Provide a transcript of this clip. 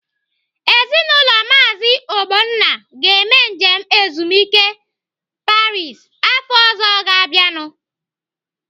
Ezinaụlọ Maazi Ogbonna ga-eme njem ezumike a Paris afọ ọzọ ga-abịanu.